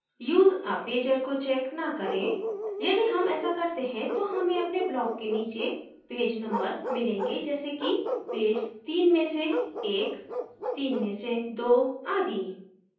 use a pager को check न करें यदि हम ऐसा करते हैं तो हमें अपने block के नीचे pager numbers मिलेंगे जैसे कि pager तीन में से एक तीन में से दो आदि